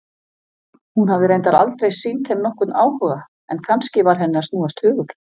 Hún hafði reyndar aldrei sýnt þeim nokkurn áhuga, en kannski var henni að snúast hugur?